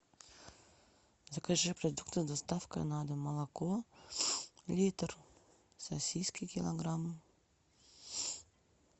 закажи продукты доставка на дом молоко литр сосиски килограмм